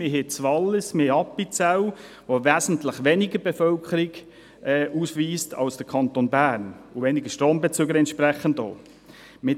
Wir haben das Wallis und Appenzell, die wesentlich weniger Bevölkerung ausweisen als der Kanton Bern und dementsprechend auch weniger Strombezüger.